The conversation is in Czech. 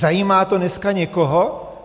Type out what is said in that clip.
Zajímá to dneska někoho?